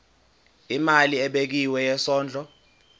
imali ebekiwe yesondlo